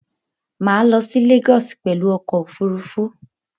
Mà á lo sí Lagos pèlu okò òfurufú